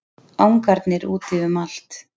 Angarnir úti um allt.